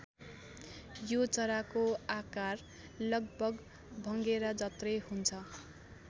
यो चराको आकार लगभग भँगेरा जत्रै हुन्छ।